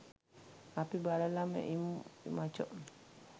අපි බලලම ඉමු මචෝ